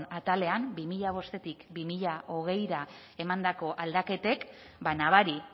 atalean bi mila bostetik bi mila hogeira emandako aldaketek nabari